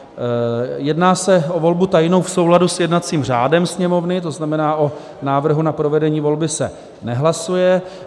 Jedná se o volbu tajnou v souladu s jednacím řádem Sněmovny, to znamená o návrhu na provedení volby se nehlasuje.